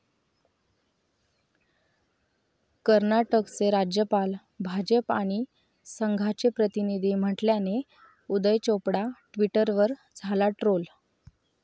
कर्नाटकचे राज्यपाल 'भाजप आणि संघा'चे प्रतिनिधी म्हटल्याने उदय चोपडा ट्विटरवर झाला ट्रोल